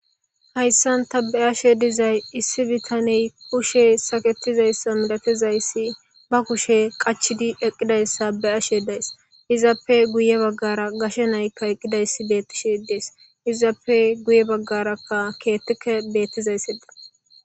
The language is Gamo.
hayssanta be7ashe dizay issi bitaney kushe saketizayssa milatizayssi ba kushe qachidi eqqidayssa be7ashe days izaappe guye baggara gashe naykka eqqidayssi beettishedees izaappe guye baggarakka keettike beettizayssedi